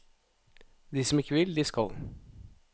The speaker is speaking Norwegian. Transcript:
De som ikke vil, de skal.